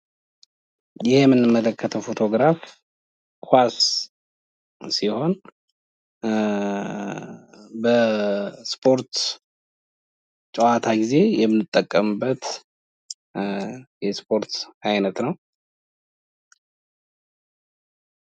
ይህ የምንመለከተው ፎቶ ግራፍ ኳስ ሲሆን በስፖርት ጨዋታ ጊዜ የምንጠቀምበት የስፖርት አይነት ነው።